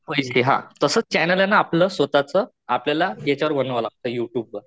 माहितीये हा तसाच चॅनलयेना आपलं स्वतःच आपल्याला याच्यावर बनवावं लागत युट्युब वर.